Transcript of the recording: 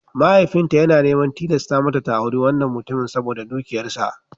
Mahaifinta yana neman tilasta mata ta auri wannan mutumin saboda dukiyarsa.